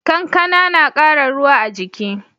Kankana na kara ruwa a jiki